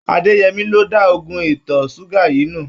Adéyẹmí ló da oògùn ìtọ̀ ṣúgà yìí nù.